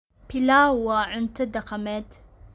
Pilau waa cunto dhaqameed.